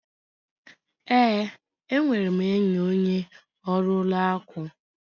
Ee, enwere m enyi onye ọrụ ụlọ akụ.